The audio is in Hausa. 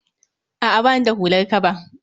A'a bani da hular kaba